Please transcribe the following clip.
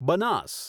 Banas